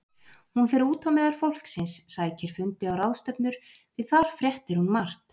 Hún fer út á meðal fólksins, sækir fundi og ráðstefnur, því þar fréttir hún margt.